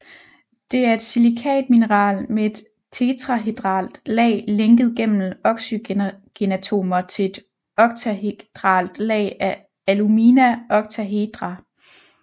Det er et silikatmineral med et tetrahedralt lag lænket gennem oxygenatomer til et oktahedralt lag af alumina oktahedra